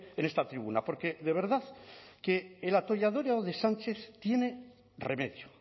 en esta tribuna porque de verdad que el atolladero de sánchez tiene remedio